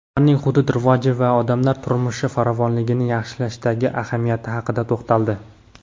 ularning hudud rivoji va odamlar turmushi farovonligini yaxshilashdagi ahamiyati haqida to‘xtaldi.